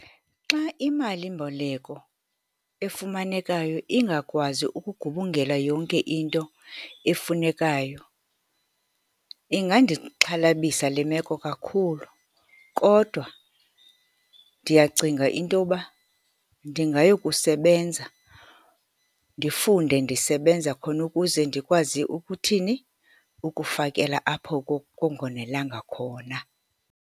Xa imalimboleko efumanekayo ingakwazi ukugubungela yonke into efunekayo, ingandixhalabisa le meko kakhulu, kodwa ndiyacinga intoba ndingayokusebenza, ndifunde ndisebenza khona ukuze ndikwazi ukuthini? Ukufakela apho kungonelanga khona.